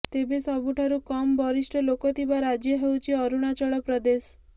ତେବେ ସବୁଠାରୁ କମ ବରିଷ୍ଠ ଲୋକଥିବା ରାଜ୍ୟ ହେଉଛି ଅରୁଣାଚଳ ପ୍ରଦେଶ